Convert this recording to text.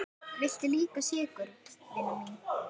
Viltu líka sykur, vina mín?